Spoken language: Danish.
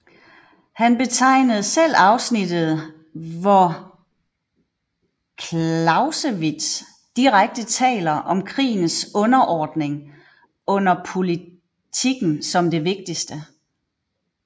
Han betegnede selv afsnittet hvor Clausewitz direkte taler om krigens underordning under politikken som det vigtigste